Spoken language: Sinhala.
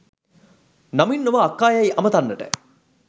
නමින් නොව අක්කා යැයි අමතන්නට